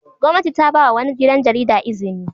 Gwamnati ta ba wa wani gidan jarida izini.